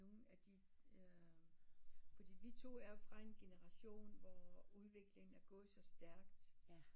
Nogle af de der fordi vi to er fra en generation hvor udviklingen er gået så stærkt